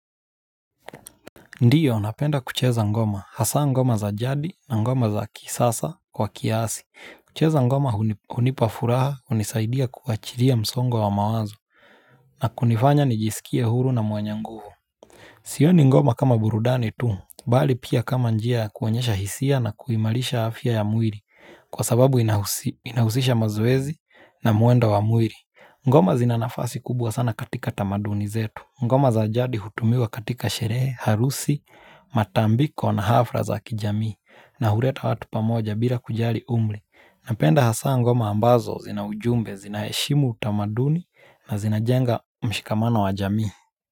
Ndiyo napenda kucheza ngoma, hasa ngoma za jadi na ngoma za kisasa kwa kiasi. Kucheza ngoma uni unipa furaha unisaidia kuachiria msongo wa mawazo na kunifanya nijisikie huru na mwenye nguvu. Sioni ngoma kama burudani tu, bali pia kama njia ya kuonyesha hisia na kuimalisha afya ya mwiri kwa sababu inahusisha mazoezi na muendo wa mwiri. Ngoma zina nafasi kubwa sana katika tamaduni zetu. Ngoma za jadi hutumiwa katika sheree, harusi, matambiko na hafra za kijamii na hureta watu pamoja bira kujari umri. Napenda hasa ngoma ambazo zina ujumbe zinaheshimu utamaduni na zinajenga mshikamano wa jamii.